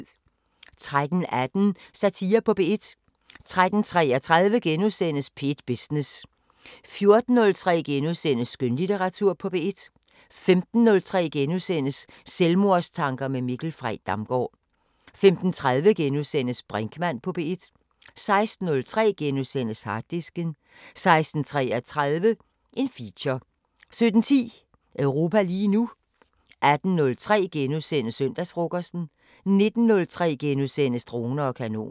13:18: Satire på P1 13:33: P1 Business * 14:03: Skønlitteratur på P1 * 15:03: Selvmordstanker med Mikkel Frey Damgaard * 15:30: Brinkmann på P1 * 16:03: Harddisken * 16:33: Feature 17:10: Europa lige nu 18:03: Søndagsfrokosten * 19:03: Droner og kanoner *